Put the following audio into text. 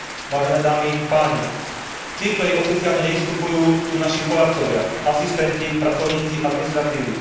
Vážené dámy, páni, tí, ktorí oficiálne nevystupujú, sú naši poradcovia, asistenti, pracovníci administratívy.